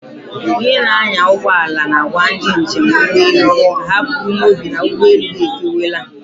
Onye na-anya ụgbọala na-agwa ndị njem ụgbọelu ka ha buru n'obi na ụgbọelu ha efeliwela.